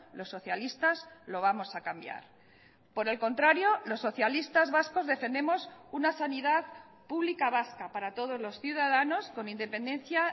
los socialistas lo vamos a cambiar por el contrario los socialistas vascos defendemos una sanidad pública vasca para todos los ciudadanos con independencia